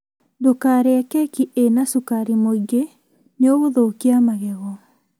Ndũkarĩe keki ĩna cukari mũngĩ nĩ ũgũthũkia magego